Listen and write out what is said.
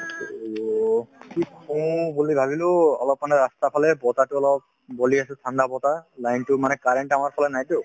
to অলপ মানে ৰাস্তাৰফালে বতাহতো অলপ বলি আছে ঠাণ্ডা বতাহ line তো মানে current আমাৰফালে নাইতো